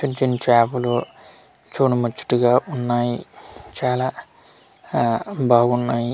చిన్చిన్ చాపలు చూడ ముచ్చటగా ఉన్నాయి చాలా ఆ బాగున్నాయి.